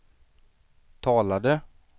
talade